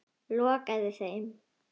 Lokaði þeim.